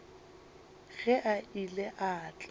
ge a ile a tla